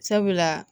Sabula